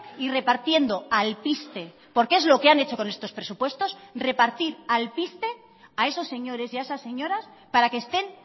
y repartiendo alpiste porque es lo que han hecho con estos presupuestos repartir alpiste a esos señores y a esas señoras para que estén